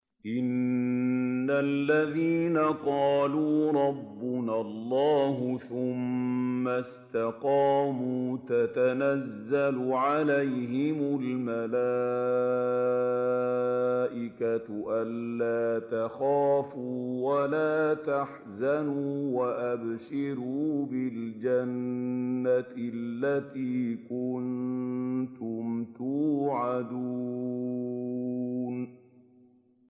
إِنَّ الَّذِينَ قَالُوا رَبُّنَا اللَّهُ ثُمَّ اسْتَقَامُوا تَتَنَزَّلُ عَلَيْهِمُ الْمَلَائِكَةُ أَلَّا تَخَافُوا وَلَا تَحْزَنُوا وَأَبْشِرُوا بِالْجَنَّةِ الَّتِي كُنتُمْ تُوعَدُونَ